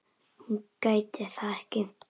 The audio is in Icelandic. Hún gæti það ekki.